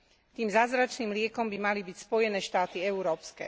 Tým zázračným liekom by mali byť Spojené štáty európske.